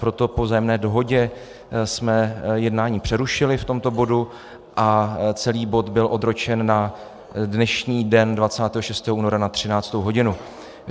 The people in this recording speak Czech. Proto po vzájemné dohodě jsme jednání přerušili v tomto bodu a celý bod byl odročen na dnešní den 26. února na 13. hodinu.